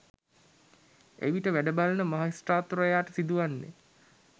එවිට වැඩ බලන මහෙස්ත්‍රාත්වරයාට සිදුවන්නේ